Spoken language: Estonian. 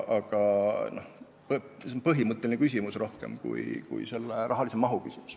See on pigem põhimõtteline küsimus, reklaami rahaline maht pole nii oluline.